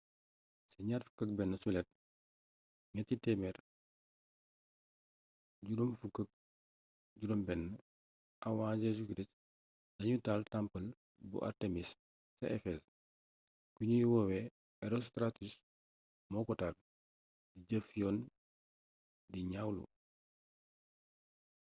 ci 21 juillet 356 av jc lañu taal temple bu artémis ca ephèse ki ñuy woowe herostratus moo ko taal di jëf yoon di ñaawlu